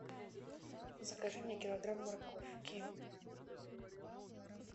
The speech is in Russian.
закажи мне килограмм морковки